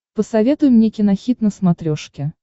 посоветуй мне кинохит на смотрешке